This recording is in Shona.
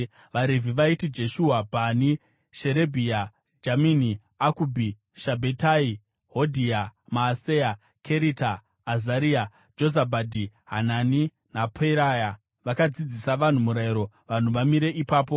VaRevhi vaiti: Jeshua, Bhani, Sherebhia, Jamini, Akubhi, Shabhetai, Hodhia, Maaseya, Kerita, Azaria, Jozabhadhi, Hanani naPeraya vakadzidzisa vanhu Murayiro vanhu vamire ipapo.